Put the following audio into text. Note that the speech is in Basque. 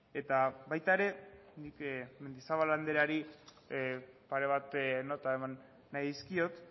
eta baita ere nik mendizabal andreari pare bat nota eman nahi dizkiot